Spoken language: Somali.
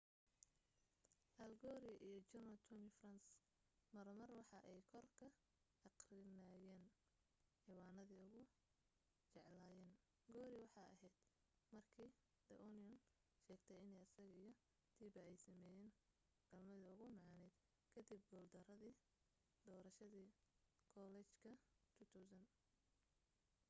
al gore iyo general tommy franks mar mar waxa ay kor ka aqrinayaan ciwanade ugu jeclaayen gore waxee aheyd markii the onion sheegtay in asaga iyo tipper ay sameynayeen galmadii ugu macaaned kadib guul daradii doorashadii kollejka 2000